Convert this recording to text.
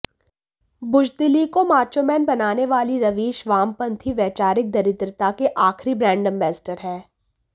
बुज़दिली को माचोमैन बनाने वाले रवीश वामपंथी वैचारिक दरिद्रता के आख़िरी ब्रांड एम्बेसडर हैं